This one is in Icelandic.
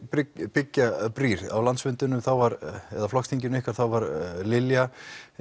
byggja brýr á landsfundinum eða flokksþinginu ykkar þá var Lilja